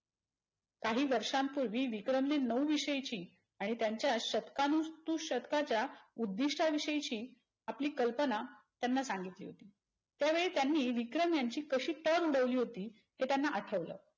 काही वर्षां पूर्वी विक्रमने नऊ विषयची आणि त्यांच्या शतकोनु तू शतकाच्या उद्धिष्ट विषयाची आपली कल्पना त्यांना सांगितली होती. त्यावेळी त्यांनी विक्रम यांची कशी टर उडवली होती ते त्यांना आठवल.